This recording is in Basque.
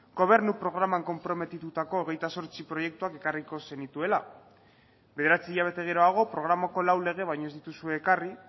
gobernu programan konprometitutako hogeita zortzi proiektuak ekarriko zenituela bederatzi hilabete geroago programako lau lege baino ez dituzue ekarri